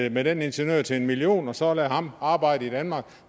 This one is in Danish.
ind med den ingeniør til en million kroner og så lade ham arbejde i danmark